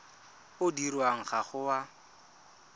o dirwang ga o a